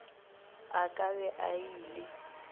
a ka be a ile